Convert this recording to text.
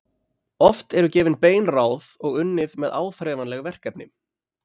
Oft eru gefin bein ráð og unnið með áþreifanleg verkefni.